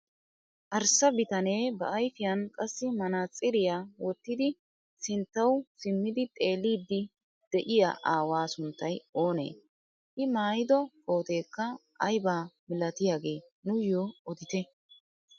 Arssa bitanee ba ayfiyaan qassi manaatsiriyaa wottidi sinttawu simmidi xeelliidi de'iyaa aawaa sunttay oonee? i maayido kooteekka aybaa milatiyaage nuuyoo odite?